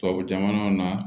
Tubabu jamanaw na